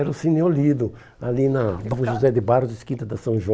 Era o Cine Olido, ali na no José de Barros, quinta da São João.